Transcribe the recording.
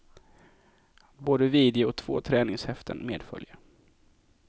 Både video och två träningshäften medföljer.